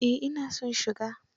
Eh ina son shiga.